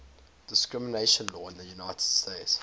discrimination law in the united states